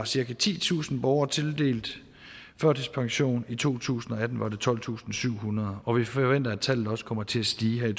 cirka titusind borgere tildelt førtidspension i to tusind og atten var det tolvtusinde og syvhundrede og vi forventer at tallet også kommer til at stige